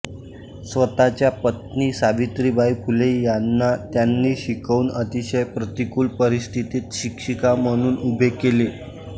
स्वतःच्या पत्नी सावित्रीबाई फुले यांना त्यांनी शिकवून अतिशय प्रतिकूल परिस्थितीत शिक्षिका म्हणून उभे केले